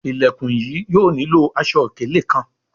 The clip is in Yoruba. Ilẹkùn yìí yóò nilo aṣọ-ikele kán